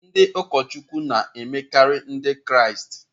Ndị ụkọchukwu na-emekarị Ndị Kraịst.